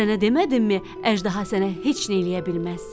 Sənə demədimmi əjdaha sənə heç nə eləyə bilməz.